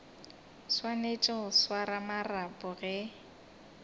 swanetše go swara marapo ge